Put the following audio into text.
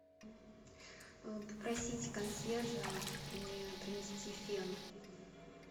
попросить консьержа мне принести фен